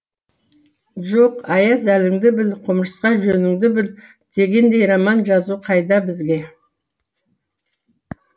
жоқ аяз әліңді біл құмырсқа жөніңді біл дегендей роман жазу қайда бізге